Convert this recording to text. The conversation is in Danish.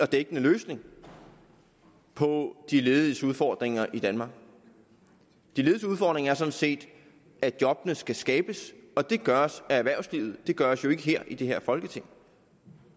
dækkende løsning på de lediges udfordringer i danmark de lediges udfordringer er sådan set at job skal skabes og det gøres af erhvervslivet det gøres jo ikke i det her folketing